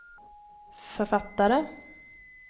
författare